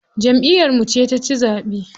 Jamʼiyar mu ce taci zaɓe.